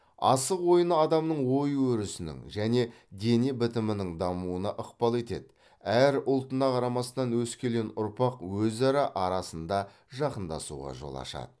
асық ойыны адамның ой өрісінің және дене бітімінің дамуына ықпал етеді әрі ұлтына қарамастан өскелең ұрпақ өзара арасында жақындасуға жол ашады